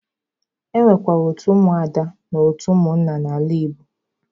E nwekwara otu ụmụ ada na otu ụmụnna n'ala Igbo.